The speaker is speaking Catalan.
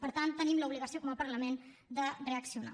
per tant tenim l’obligació com a parlament de reaccionar